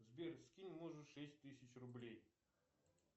сбер скинь мужу шесть тысяч рублей